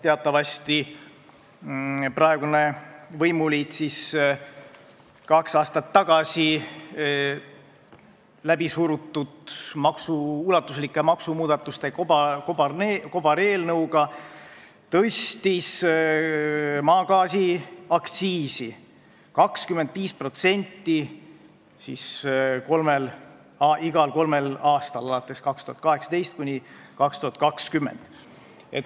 Teatavasti tõstis praegune võimuliit kaks aastat tagasi läbi surutud ulatuslike maksumuudatuste kobareelnõuga maagaasi aktsiisi 25% ja seda otsustati teha igal kolmel aastal perioodil 2018–2020.